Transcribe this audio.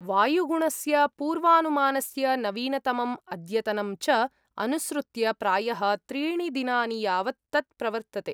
वायुगुणस्य पूर्वानुमानस्य नवीनतमम् अद्यतनं च अनुसृत्य प्रायः त्रीणि दिनानि यावत् तत् प्रवर्तते।